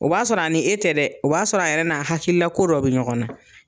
O b'a sɔrɔ a ni e tɛ dɛ o b'a sɔrɔ a yɛrɛ n'a hakilila ko dɔ bɛ ɲɔgɔnna.